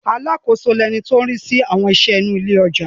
Alákòóso ni ẹni tó ń rí sí àwọn iṣẹ́ inú ilé ọjà.